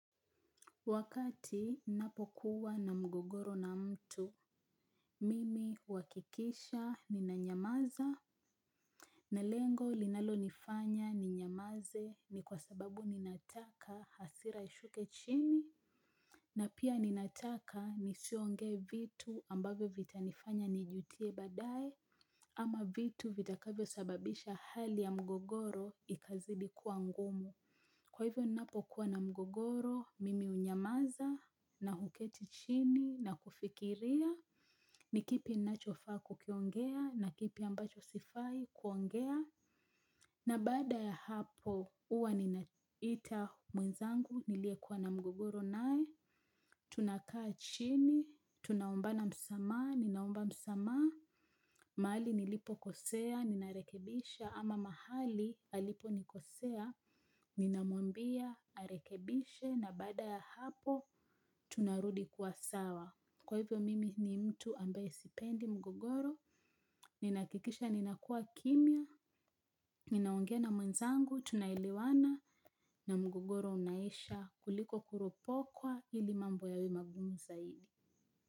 Wakati ninapokuwa na mgogoro na mtu mimi huakikisha nina nyamaza. Na lengo linalo nifanya ninyamaze ni kwa sababu ninataka hasira ishuke chini. Na pia ninataka nisiongee vitu ambavyo vitanifanya nijutie badae. Ama vitu vitakavyo sababisha hali ya mgogoro ikazidi kuwa ngumu. Kwa hivyo ninapokuwa na mgogoro mimi hunyamaza na huketi chini na kufikiria ni kipi nachofaa kukiongea na kipi ambacho sifai kuongea na baada ya hapo huwa ninaita mwenzangu nilie kuwa na mgogoro nae tunakaa chini tunaombana msamaha ninaomba msamaha mahali nilipo kosea nina rekebisha ama mahali alipo nikosea, ninamwambia arekebishe na baada ya hapo tunarudi kuwa sawa. Kwa hivyo mimi ni mtu ambae sipendi mgogoro. Ninahakikisha ninakua kimya ninaonge na mwenzangu tunaelewana na mgogoro unaisha kuliko kuropokwa ili mambo yawe magumu zaidi.